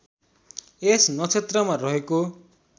यस नक्षत्रमा रहेको